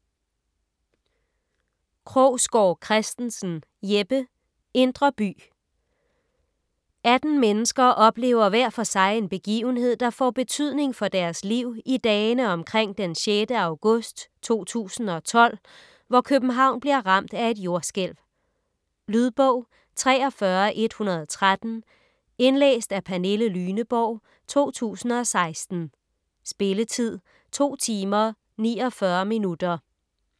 Krogsgaard Christensen, Jeppe: Indre by 18 mennesker oplever hver for sig en begivenhed, der får betydning for deres liv i dagene omkring den 6. august 2012, hvor København bliver ramt af et jordskælv. Lydbog 43113 Indlæst af Pernille Lyneborg, 2016. Spilletid: 2 timer, 49 minutter.